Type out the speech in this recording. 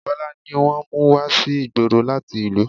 Bọlá ni wọ́n mú wá sí ìgboro láti ìlú